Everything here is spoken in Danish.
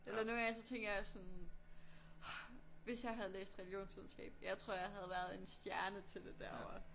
Eller nogen gange så tænker jeg sådan ah hvis jeg havde læst religionsvidenskab jeg tror jeg havde været en stjerne til det derovre